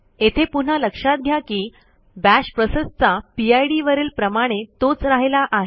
येथे पुन्हा लक्षात घ्या की बाश प्रोसेसचा पिड वरील प्रमाणे तोच राहिला आहे